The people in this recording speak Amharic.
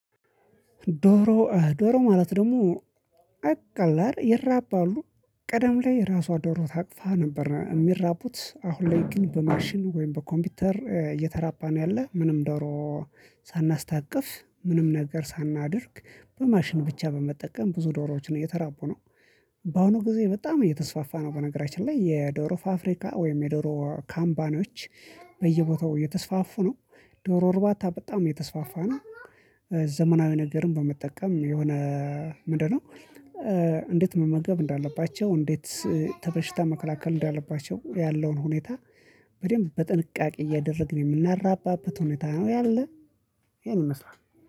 ዶሮ ዶሮ ማለት ደግሞ በቀላል ይራባሉ ቀደም ላይ ራሷ ዶሮ ታቅፋ ነበር እሚራቡት አሁን ላይ ግን በማሽን ወይም በኮምፒውተር እየተራባ ነው ያለ ምንም ዶሮ ሳናስታቅፍ ምንም ነገር ሳናደርግ በማሽን ብቻ በመጠቀም ብዙ ዶሮዎች እየተራቡ ነው። በአሁኑ ጊዜ በጣም እየተስፋፋ ነው። በነገራችን ላይ የዶሮ ፋፍሪካ ወይም የዶሮ ካምፓኒዎች በየቦታው እየተስፋፉ ነው። ዶሮ እርባታ በጣም እየተስፋፋ ነው። ዘመናዊ ነገርን በመጠቀም የሆነ ምንድነው? እንዴት መመገብ እንዳለባቸው እንዴት ተበሽታ መከላከል እንዳለባቸው ያለውን ሁኔታ በደንብ በጥንቃቄ እያደረግን የምናራባበት ሁኔታ ነው ያለ። ይሄን ይመስላል